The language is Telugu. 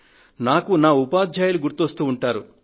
నాకు నా ఉపాధ్యాయులు గుర్తుకువస్తూ ఉంటారు